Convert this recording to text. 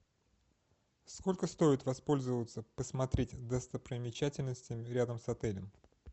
сколько стоит воспользоваться посмотреть достопримечательности рядом с отелем